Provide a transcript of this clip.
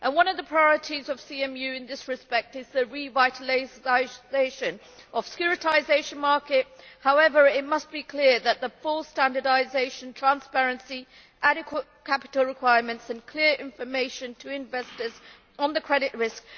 One of the priorities of CMU in this respect is the revitalisation of the securitisation market. However, it must be clear that there should be full standardisation, transparency, adequate capital requirements and clear information to investors on the credit risk.